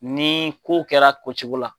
Ni ko kɛra kocogo la.